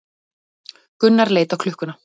Gunnar leit á klukkuna.